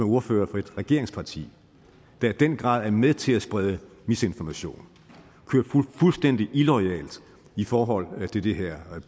ordfører for et regeringsparti der i den grad er med til at sprede misinformation og køre fuldstændig illoyalt i forhold til det her